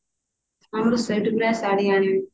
ହଁ ମୁଁ ସେଇଠୁ ଗୋଟେ ଶାଢ଼ୀ ଆଣିବି